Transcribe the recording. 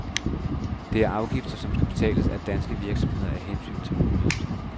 Det er afgifter, som skal betales af danske virksomheder af hensyn til miljøet.